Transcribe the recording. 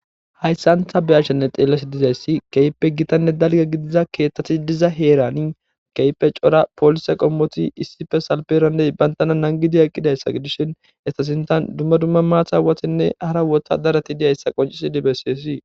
hayssantha beyashenne xeellasi dizayssi keehippe gitanne dalga gidiza keeththati diza heerani keype cora poolise qommoti issife salperandey bayntana nangidiya eqqidayssa gidishin estasintan dumma dumma maata watenne hara wota darati dizayssa qoncisidi besseesi